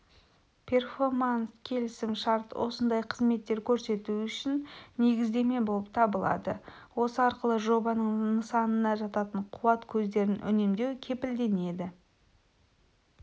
перфоманс-келісім шарт осындай қызметтер көрсету үшін негіздеме болып табылады осы арқылы жобаның нысанына жататын қуат көздерін үнемдеу кепілденеді